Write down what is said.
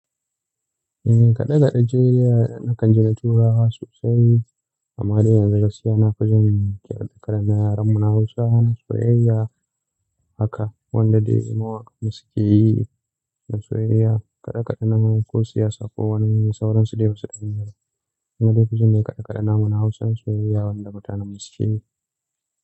Kade-kade jiriya nakan ji na tura sosai, amma dai yanzun gaskiya na fi jin kidan yaran mu na Hausa na soyayya haka wanda dai mawaƙan mu suke yi na soyayya. Kade-kadena ko siyasa ko wani sauransu dai ba su daina ba. Ina daici ne kade-kadena mana Hausan soyayya wanda mutanen mu suke yi.